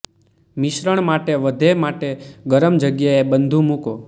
મિશ્રણ માટે વધે માટે ગરમ જગ્યાએ બધું મૂકો